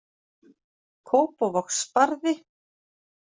Kópavogsbarði